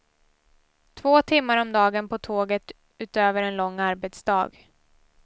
Två timmar om dagen på tåget utöver en lång arbetsdag.